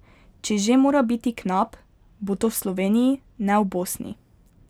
Če že mora biti knap, bo to v Sloveniji, ne v Bosni.